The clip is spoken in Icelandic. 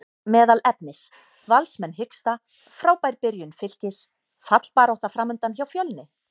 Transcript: Meðal efnis: Valsmenn hiksta, Frábær byrjun Fylkis, fallbarátta framundan hjá Fjölni?